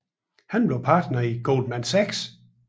Han blev partner i Goldman Sachs